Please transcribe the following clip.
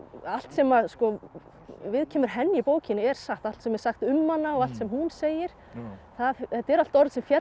allt sem viðkemur henni í bókinni er satt allt sem er sagt um hana og allt sem hún segir þetta eru allt orð sem féllu